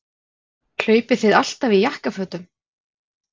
Hlaupið þið alltaf í jakkafötum?